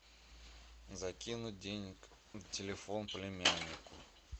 закинуть денег на телефон племяннику